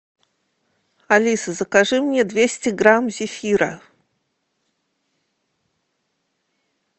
алиса закажи мне двести грамм зефира